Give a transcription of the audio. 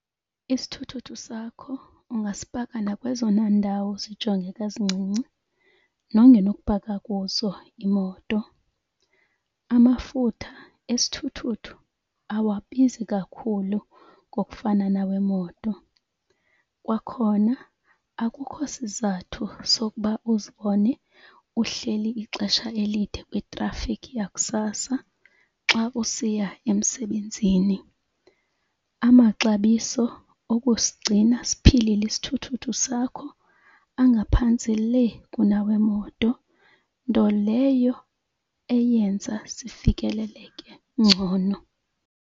Isithuthuthu sakho ungasipaka nakwezona ndawo zijongeka zincinci nongenokupaka kuzo imoto. Amafutha esithuthuthu awabizi kakhulu ngokufana nawemoto. Kwakhona akukho isizathu sokuba uzibone uhleli ixesha elide kwitrafikhi yakusasa xa usiya emsebenzini. Amaxabiso okusigcina siphilile isithuthuthu sakho angaphantsi le kunawemoto nto leyo eyenza zifikeleleke ngcono.